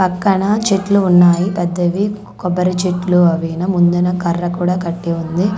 పక్కన చెట్లు ఉన్నాయి పెద్దవి కొబ్బరి చెట్లు అవి ను ముందున్న కర్ర కూడా కట్టి ఉంది.